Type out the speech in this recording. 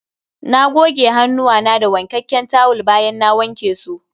Na goge hannuwana da wankakken tawul bayan na wanke su